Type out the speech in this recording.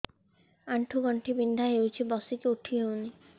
ଆଣ୍ଠୁ ଗଣ୍ଠି ବିନ୍ଧା ହଉଚି ବସିକି ଉଠି ହଉନି